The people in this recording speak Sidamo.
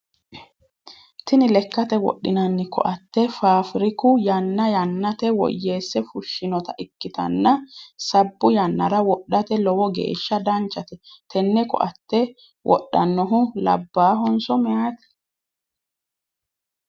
Tinni lekate wodhinnanni koate faafiriku yanna yannate woyeese fushinota ikitanna sabbu yannara wodhate lowo geesha danchate tenne koate wodhanohu labaahonso mayite?